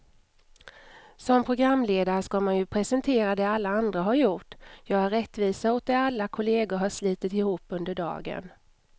Som programledare ska man ju presentera det alla andra har gjort, göra rättvisa åt det alla kollegor har slitit ihop under dagen.